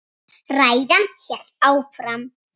Ræðan hélt áfram: